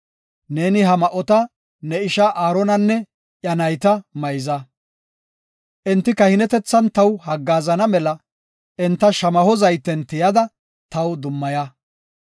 Neeni ha ma7ota ne ishaa Aaronanne iya nayta mayza. Enti kahinetethan taw haggaazana mela enta shamaho zayten tiyada taw dummaya.